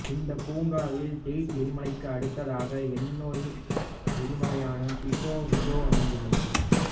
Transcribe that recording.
இந்தப் பூங்காவில் டெயிட் எரிமலைக்கு அடுத்ததாக என்னொரு எரிமலையான பிகோ விஜோ அமைந்துள்ளது